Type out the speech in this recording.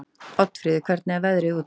Oddfríður, hvernig er veðrið úti?